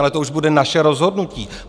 Ale to už bude naše rozhodnutí.